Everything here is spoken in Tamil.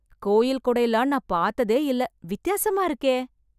கோயில் கொடைலாம் நான் பாத்ததே இல்ல, வித்தியாசமா இருக்கே.